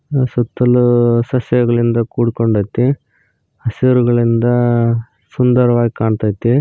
ಸುತ್ತಲು ಸಸ್ಯಗಳಿಂದ ಕೂಡಿಕೊಂಡೈತಿ ಹಸಿರುಗಳಿಂದ ಸುಂದರವಾಗಿ ಕಾಣ್ತೈತಿ.